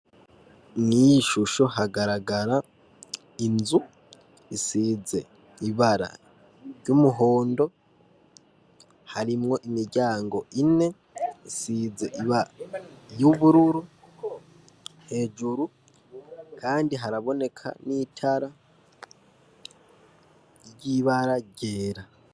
Mw'iyi shusho hagaragara inzu isize ibara ry'umuhondo harimwo imiryango ine isize ibara y'ubururu . Hejuru kandi haraboneka n'itara ry'ibara ryera.